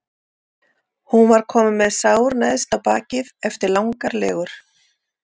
Hún var komin með sár neðst á bakið eftir langar legur.